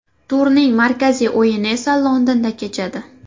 Turning markaziy o‘yini esa Londonda kechadi.